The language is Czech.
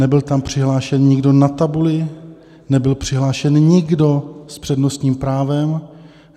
Nebyl tam přihlášený nikdo na tabuli, nebyl přihlášený nikdo s přednostním právem.